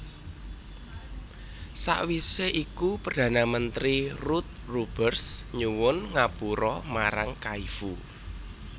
Sawisé iku Perdana Menteri Ruud Lubbers nyuwun ngapura marang Kaifu